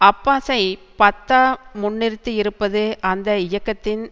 அப்பாஸை Fatah முன்னிறுத்தியிருப்பது அந்த இயக்கத்தின்